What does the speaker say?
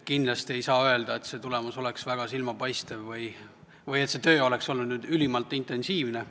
Kindlasti ei saa öelda, et tulemus oleks väga silmapaistev või et see töö oleks olnud ülimalt intensiivne.